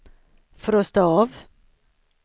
frosta av